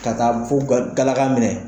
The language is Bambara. Ka taa fo galaka minɛ